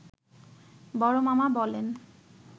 বড় মামা বলেন